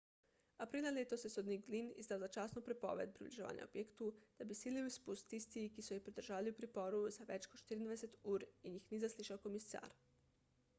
aprila letos je sodnik glynn izdal začasno prepoved približevanja objektu da bi izsilil izpust tistih ki so jih pridržali v priporu za več kot 24 ur in jih ni zaslišal komisar